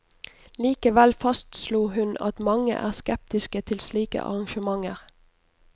Likevel fastslo hun at mange er skeptiske til slike arrangementer.